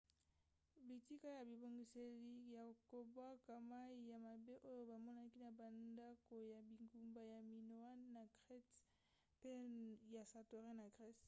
bitika ya bibongiseli ya kobwaka mai ya mabe oyo bamonaki na bandako ya bingumba ya minoan na crete mpe ya santorin na grèce